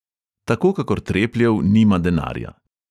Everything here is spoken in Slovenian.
Tako kakor trepljev nima denarja.